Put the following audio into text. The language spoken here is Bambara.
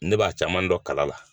Ne b'a caman dɔ kala la.